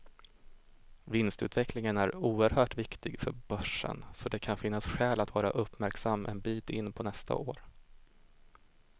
Vinstutvecklingen är oerhört viktig för börsen, så det kan finnas skäl att vara uppmärksam en bit in på nästa år.